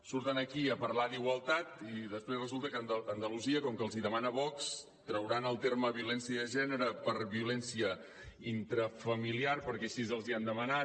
surten aquí a parlar d’igualtat i després resulta que a andalusia com que els hi demana vox trauran el terme violència de gènere per violència intrafamiliar perquè així els hi han demanat